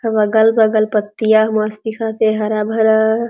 अगल - बगल पत्तियां मस्त दिखते हरा भरा --